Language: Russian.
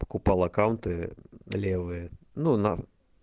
покупал аккаунты левые ну на